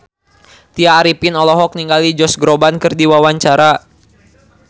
Tya Arifin olohok ningali Josh Groban keur diwawancara